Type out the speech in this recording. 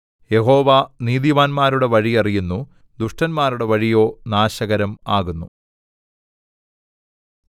യഹോവ നീതിമാന്മാരുടെ വഴി അറിയുന്നു ദുഷ്ടന്മാരുടെ വഴിയോ നാശകരം ആകുന്നു